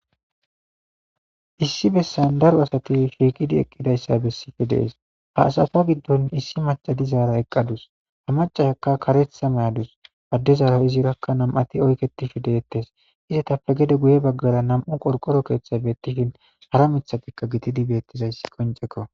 Issi bessan daro assati shshiqqidi eqidayssa besiidi de'ees ha assatta giddon issi macca dizara eqadus macayaka kareththa mayadus adezara izirakka nam'ati oykettishshe de'etees iyettappe geede guye baggara nam'u qorqoro keeththay betiishshe dees hara miiththatika giididi bettizaysi qoncekko